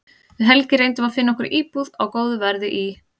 Við Helgi reyndum að finna okkur íbúð á góðu verði í